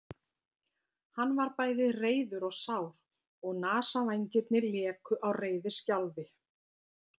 Hann var bæði reiður og sár og nasavængirnir léku á reiðiskjálfi.